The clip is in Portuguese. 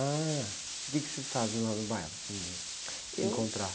Ah, o quê que vocês fazem lá no bairro, assim, de se encontrar?u...